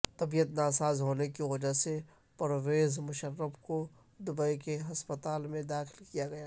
طبیعت ناساز ہونے کے وجہ پرویز مشرف کو دبئی کے ہسپتال میں داخل کیا گیا